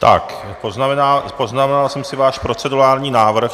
Tak, poznamenal jsem si váš procedurální návrh.